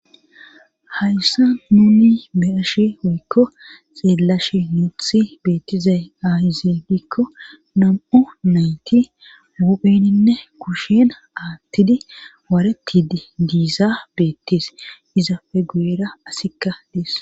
hayssa nuni be ashe oykko xeelashi nuuthi beettizay aayze dikko nam7o nayti wupheninne kushena aattidi waaretidi giiza beettes izafe gueera asikka dees